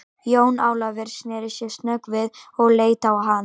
Jón Ólafur sneri sér snöggt við og leit á hann.